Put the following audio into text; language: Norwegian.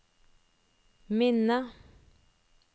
minne